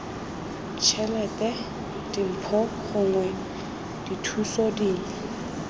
tšhelete dimpho gongwe dithuso dingwe